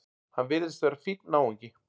Hann virðist vera fínn náungi!